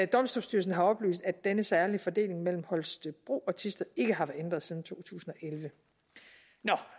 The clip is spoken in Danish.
domstolsstyrelsen har oplyst at denne særlige fordeling mellem holstebro og thisted ikke har været ændret siden to tusind og elleve nå